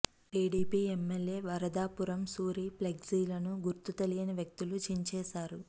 TDP MLA Varadapuram Suri ఫ్లెక్సీలను గుర్తు తెలియన వ్యక్తులు చించేశారు